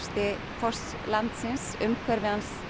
foss landsins umhverfi